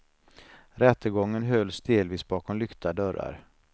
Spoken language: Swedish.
Rättegången hölls delvis bakom lyckta dörrar.